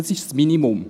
Das ist das Minimum.